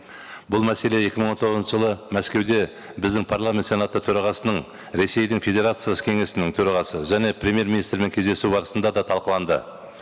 бұл мәселе екі мың он тоғызыншы жылы мәскеуде біздің парламент сенаты төрағасының ресейдің федерациясы кеңесінің төрағасы және премьер министрмен кездесу барысында да талқыланды